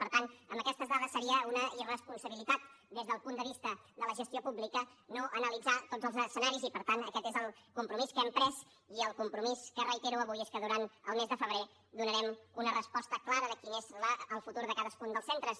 per tant amb aquestes dades seria una irresponsabilitat des del punt de vista de la gestió pública no analitzar tots els escenaris i per tant aquest és el compromís que hem pres i el compromís que reitero avui és que durant el mes de febrer donarem una resposta clara de quin és el futur de cadascun dels centres